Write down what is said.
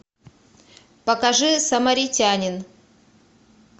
покажи самаритянин